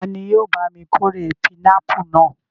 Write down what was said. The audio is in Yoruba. Ta ni yóò bá mi kórè pinápù náà?